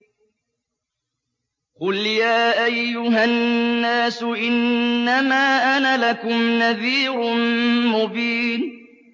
قُلْ يَا أَيُّهَا النَّاسُ إِنَّمَا أَنَا لَكُمْ نَذِيرٌ مُّبِينٌ